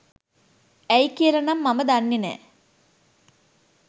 ඇයි කියලා නම් මම දන්නෙ නෑ.